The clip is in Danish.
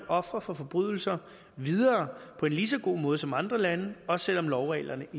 ofre for forbrydelser videre på en lige så god måde som andre lande også selv om lovreglerne